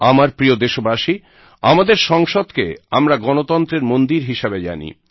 আমার প্রিয় দেশবাসী আমাদের সংসদকে আমরা গণতন্ত্রের মন্দির হিসাবে জানি